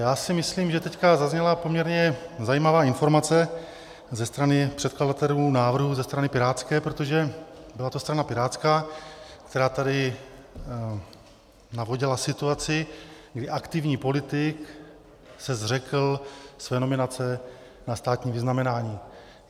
Já si myslím, že teď zazněla poměrně zajímavá informace ze strany předkladatelů návrhu ze strany pirátské, protože byla to strana pirátská, která tady navodila situaci, kdy aktivní politik se zřekl své nominace na státní vyznamenání.